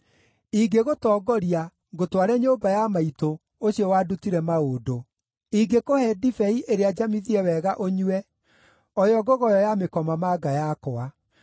Ingĩgũtongoria, ngũtware nyũmba ya maitũ, ũcio wandutire maũndũ. Ingĩkũhe ndibei ĩrĩa njamithie wega ũnyue, o yo ngogoyo ya mĩkomamanga yakwa.